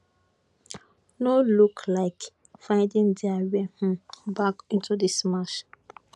no look like finding dia way um back into dis match